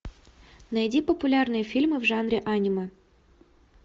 найди популярные фильмы в жанре аниме